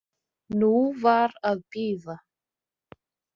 Nú var að bíða.